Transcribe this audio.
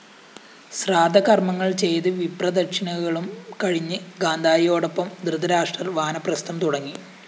ശ്രാദ്ധകര്‍മ്മങ്ങള്‍ ചെയ്ത് വിപ്രദക്ഷിണകളും കഴിഞ്ഞ് ഗാന്ധാരിയോടോപ്പം ധൃതരാഷ്ട്രര്‍ വാനപ്രസ്ഥം തുടങ്ങി